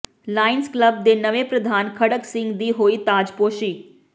Lions Club ਦੇ ਨਵੇਂ ਪ੍ਰਧਾਨ ਖੜਕ ਸਿੰਘ ਦੀ ਹੋਈ ਤਾਜਪੋਸ਼ੀ